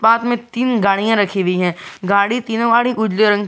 साथ में तीन गाड़ियां रखी हुई है गाड़ी तीनों गाड़ी उजले रंग की--